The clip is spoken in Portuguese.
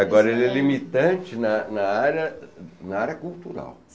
Agora, ele é limitante na na na área cultural.